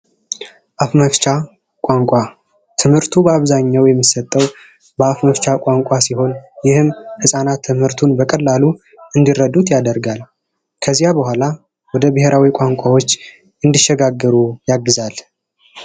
አፍ መፍቻ ቋንቋ ትምህርቱ በአብዛኛው የሚሰጠው በአፍ መፍቻ ቋንቋ ሲሆን ይህም ህጻናት በቀላሉ እንዲረዱት ያደርጋል። ከዚያ በኋላ ወደ ብሔራዊ ቋንቋዎች እንዲሸጋገሩ ያግዛል።